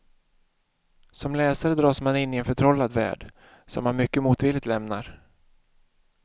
Som läsare dras man in i en förtrollad värld, som man mycket motvilligt lämnar.